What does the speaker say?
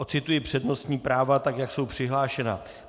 Ocituji přednostní práva, tak jak jsou přihlášena.